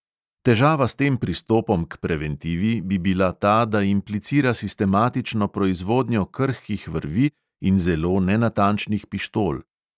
Težava s tem pristopom k preventivi bi bila ta, da implicira sistematično proizvodnjo krhkih vrvi in zelo nenatančnih pištol …